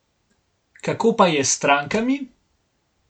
Kako pa je s strankami?